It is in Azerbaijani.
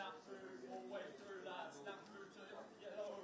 Nə bilim, neçə dənə, bilirsiz, keçən il bizdən çox oyunçular.